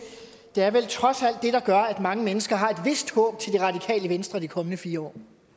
det er vel trods alt det der gør at mange mennesker har et vist håb til det radikale venstre de kommende fire år